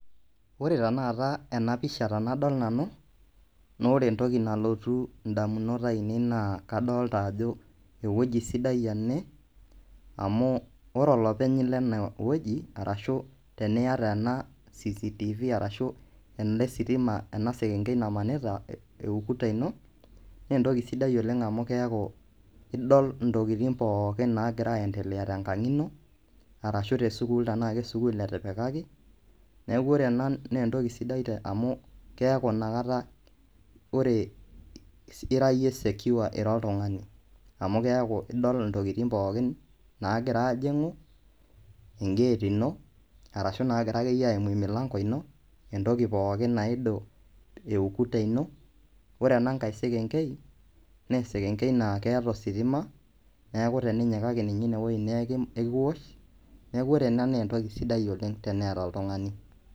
Kore tenekata ena pisha tenadol nanu, naa ore entoki nalotu indamunot ainei naa kadolita ajo eweji sidai ene amuu ore olopeny le ineweji arashu tenieta ena CCTV arashub enda esitima ana eseeng'ei namanita eukuta ino naa entoki sidai oleng amuu keaku idol ntokitin pooki naagira endelea te nkang ino arashu te sukuul tanaa ake sukuul etipikaki naaku ore ena naa entoki sidai amuu keaku inakata ore ira iye secure ira oltungani amu keaku idol ntokitin pooki naagira aajing'u ingeet ino arashu naagira ake iye aimu lmilango ino entoki pooki naimu eukuta ino, ore ena inkae sekenkei naa sekenkei naa keeta ositima, nekaku teninyikaki ninye ineweji naaku ikiwuoch naaku ore ena naa entoki sidai oleng teneata oltungani.